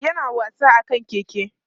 yana wasa akan keke